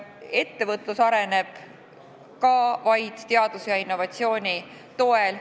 Ettevõtlus areneb ka vaid teaduse ja innovatsiooni toel.